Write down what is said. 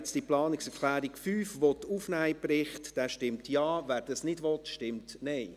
Wer die Planungserklärung 5 nun in den Bericht aufnehmen will, stimmt Ja, wer dies nicht will, stimmt Nein.